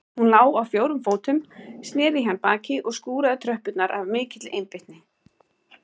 Hún lá á fjórum fótum, snéri í hann baki og skúraði tröppurnar af mikilli einbeitni.